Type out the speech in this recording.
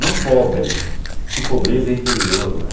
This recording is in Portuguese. Não pobre, porque pobreza é interior, né?